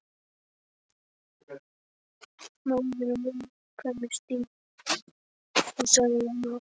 Málið er á viðkvæmu stigi sagði hann og hálf